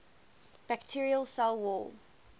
bacterial cell wall